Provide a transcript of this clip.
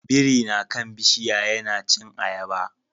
Biri na kan bishiya yana cin ayaba